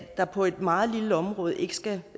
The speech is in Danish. der på et meget lille område ikke skal